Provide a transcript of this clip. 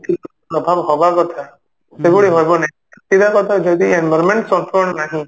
ଯେତିକି ପ୍ରଭାବ ହବା କଥା ସେଭଳି ହବନି ସିଧା କଥା ଯଦି environment ନାହିଁ